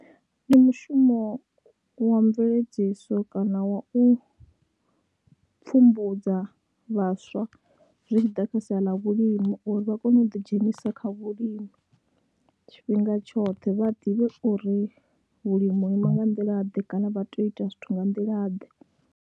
Ndi mushumo wa mveledziso kana wa u pfhumbudza vhaswa zwi tshi ḓa kha sia ḽa vhulimi uri vha kone u ḓidzhenisa kha vhulimi tshifhinga tshoṱhe, vha ḓivhe uri vhulimi ho ima nga nḓilaḓe kana vha tea u ita zwithu nga nḓilaḓe.